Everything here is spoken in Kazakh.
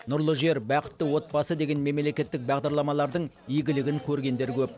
нұрлы жер бақытты отбасы деген мемлекеттік бағдарламалардың игілігін көргендер көп